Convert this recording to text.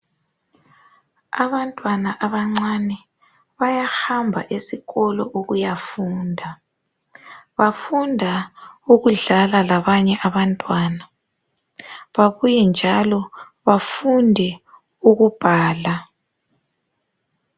Abantwana abancane bayahamba esikolo ukuyafunda bafunda ukudlala labanye abantwana babuye njalo bafunde ukubhala.